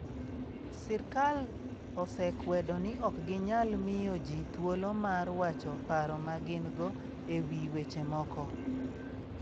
Sirkal osekwedo ni ok ginyal miyo ji thuolo mar wacho paro ma gin go e wi weche moko.